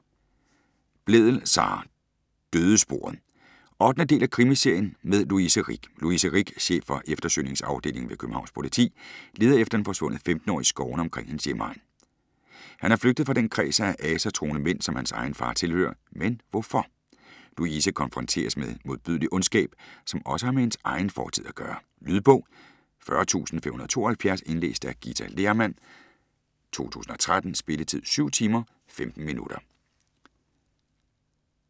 Blædel, Sara: Dødesporet 8. del af krimiserien med Louise Rick. Louise Rick, chef for eftersøgningsafdelingen ved Københavns Politi, leder efter en forsvundet 15-årig i skovene omkring hendes hjemegn. Han er flygtet fra den kreds af asatroende mænd, som hans egen far tilhører, men hvorfor? Louise konfronteres med modbydelig ondskab, som også har med hendes egen fortid at gøre. Lydbog 40572 Indlæst af Githa Lehrmann, 2013. Spilletid: 7 timer, 15 minutter.